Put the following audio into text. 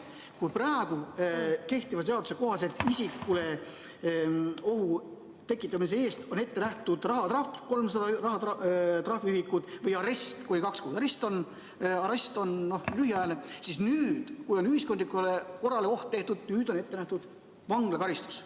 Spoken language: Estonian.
Kui praegu kehtiva seaduse kohaselt on isikule ohu tekitamise eest ette nähtud rahatrahv 300 trahviühikut või arest – ja arest on lühiajaline –, siis nüüd, kui oht on tekitatud ühiskondlikule korrale, on ette nähtud vanglakaristus.